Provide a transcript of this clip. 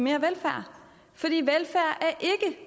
mere velfærd